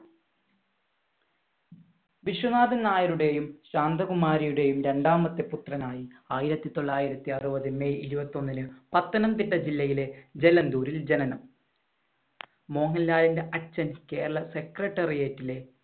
വിശ്വനാഥൻ നായരുടെയും ശാന്തകുമാരിയുടെയും രണ്ടാമത്തെ പുത്രനായി ആയിരത്തി തൊള്ളായിരത്തി അറുപത് മെയ് ഇരുപത്തി ഒന്നിന് പത്തനംതിട്ട ജില്ലയിലെ ജലന്തൂരിൽ ജനനം. മോഹൻലാലിന്‍റെ അച്ഛൻ കേരള secretariat ലെ